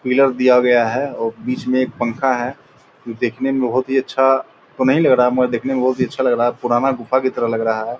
पिलर दिया गया है औ बीच में एक पंखा है जो देखने में बहुत ही अच्छा तो नहीं लग रहा है मगर देखने में बहुत ही अच्छा लग रहा है पुराना गुफा की तरह लग रहा है।